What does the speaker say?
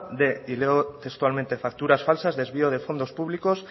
de y leo textualmente facturas falsas desvíos de fondos públicos